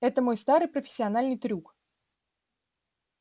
это мой старый профессиональный трюк